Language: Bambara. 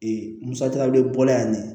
Ee musaka wele yan